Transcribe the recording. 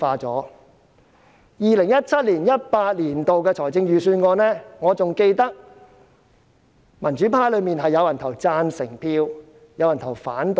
就 2017-2018 年度的預算案，我記得民主派中有人表決贊成，有人表決反對。